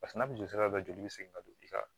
Paseke n'a bɛ joli sira bɛɛ joli bɛ segin ka don i kan